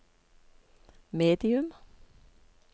medium